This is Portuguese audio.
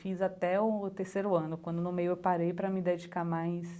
Fiz até o terceiro ano, quando no meio eu parei para me dedicar mais